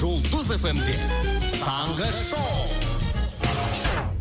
жұлдыз эф эм де таңғы шоу